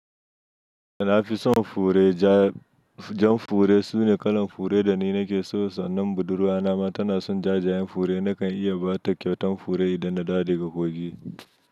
A nafison fure ja, jam fure, su ne kalan fure dani nakeso. Sannan buɗurwa nama tana son jajayen fure. Nakan iya ba ta kyautan fure idan na dawo daga kogi.